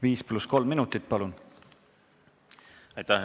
Viis pluss kolm minutit.